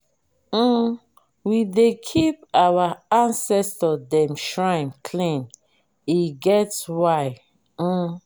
um we dey keep our ancestor dem shrine clean e get why. um